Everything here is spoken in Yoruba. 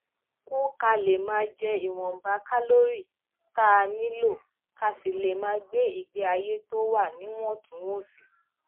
kù ka lè máa jẹ ìwònba kálórì tá a nílò ká sì lè máa gbé ìgbé ayé tó wà níwòntúnwònsì